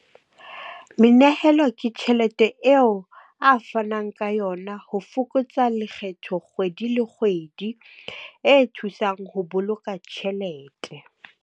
Menehelo ke tjhelete eo a fanang ka yona ho fokotsa lekgetho kgwedi le kgwedi. E thusang ho boloka tjhelete.